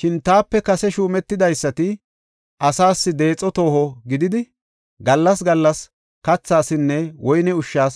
Shin taape kase shuumetidaysati asaas deexo tooho gididi, gallas gallas kathasinne woyne ushshas